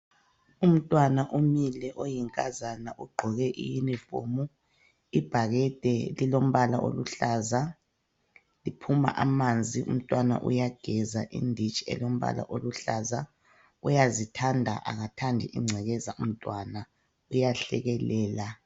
Umntwana umile oyinkazana ugqoke iyunifomu, ibhakede lilompala oluhlaza liphuma amanzi umntwana uyageza idishi elompala oluhlaza uyazithanda akathandi ingcekeza umntwana uyahlekelela.